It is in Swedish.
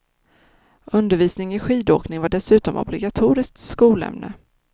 Undervisning i skidåkning var dessutom obligatoriskt skolämne.